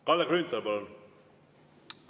Kalle Grünthal, palun!